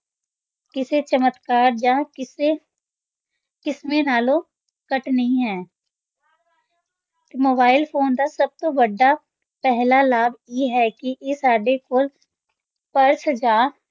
ਕਿਸੇ ਚਮਤਕਾਰ ਜਾਂ ਕਿਸੇ ਕ੍ਰਿਸ਼ਮੇ ਨਾਲੋਂ ਘੱਟ ਨਹੀਂ ਹਨ ਤੇ mobile phone ਦਾ ਸਭ ਤੋਂ ਵੱਡਾ ਪਹਿਲਾ ਲਾਭ ਇਹ ਹੈ ਕਿ ਇਹ ਸਾਡੇ ਕੋਲ ਪਰਸ ਜਾਂ